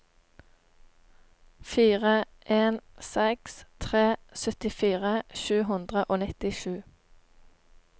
fire en seks tre syttifire sju hundre og nittisju